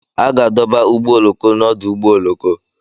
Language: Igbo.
A ga-adọba ụgbọ oloko n'ọdụ ụgbọ oloko